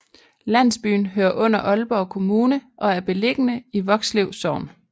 Landsbyen hører under Aalborg Kommune og er beliggende i Vokslev Sogn